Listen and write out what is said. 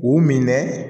U minɛ